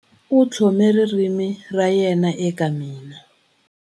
U tlhome ririmi ra yena eka mina.